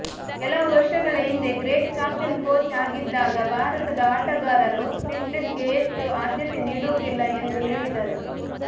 ಕೆಲವು ವರ್ಷಗಳ ಹಿಂದೆ ಗ್ರೆಗ್ ಚಾಪೆಲ್ ಕೋಚ್ ಅಗಿದ್ದಾಗ ಭಾರತದ ಆಟಗಾರರು ಫಿಟ್ನೆಸ್ಗೆ ಹೆಚ್ಚು ಆದ್ಯತೆ ನೀಡುವುದಿಲ್ಲ ಎಂದು ಹೇಳಿದ್ದರು